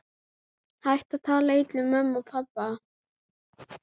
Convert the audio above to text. Hættu að tala illa um mömmu og pabba!